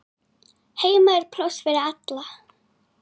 Heima er pláss fyrir alla.